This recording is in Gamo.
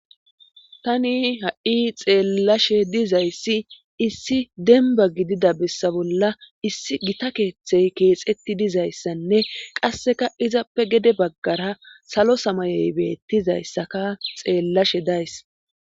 tani ha7i xeellashe dizayssi issi denba gidida bessa bolla issi gita keeththey keexetti dizayssanne qasseka izappe gede baggara salo samayey beettizayssaka xeellashe days